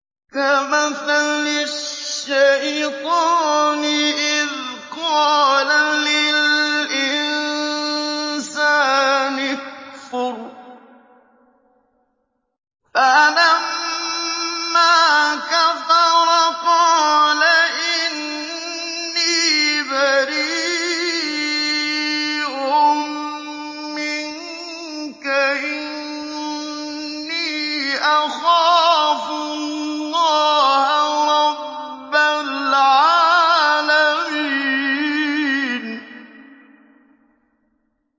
كَمَثَلِ الشَّيْطَانِ إِذْ قَالَ لِلْإِنسَانِ اكْفُرْ فَلَمَّا كَفَرَ قَالَ إِنِّي بَرِيءٌ مِّنكَ إِنِّي أَخَافُ اللَّهَ رَبَّ الْعَالَمِينَ